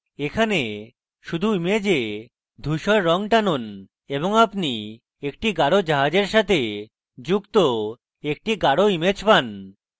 এখন শুধু image ধুসর রঙ টানুন এবং আপনি একটি গাঢ় জাহাজের সাথে যুক্ত একটি গাঢ় image পান